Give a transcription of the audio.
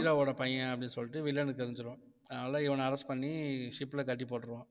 hero வோட பையன் அப்படின்னு சொல்லிட்டு வில்லனுக்கு தெரிஞ்சிரும் அதனால இவனை arrest பண்ணி ship ல கட்டி போட்டுருவான்